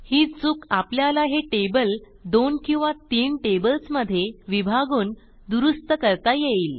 ही चूक आपल्याला हे टेबल दोन किंवा तीन टेबल्समधे विभागून दुरूस्त करता येईल